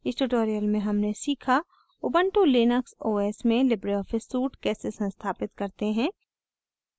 इस tutorial में हमने सीखा ubuntu लिनक्स os में libreoffice suite कैसे संस्थापित करते हैं